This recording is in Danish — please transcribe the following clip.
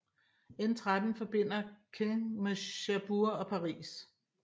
N13 forbinder Caen med Cherbourg og Paris